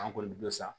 An kɔni bɛ sa